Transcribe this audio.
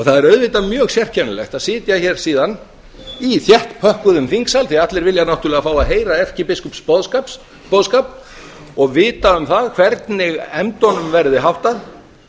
það er auðvitað mjög sérkennilegt að sitja hér síðan í þéttpökkuðum þingsal því að allir vilja náttúrlega fá að heyra erkibiskups boðskap og vita um það hvernig efndunum verði háttað